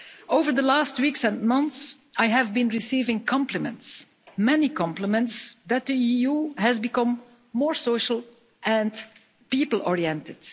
Over the last weeks and months, I have been receiving many compliments that the EU has become more social and people oriented.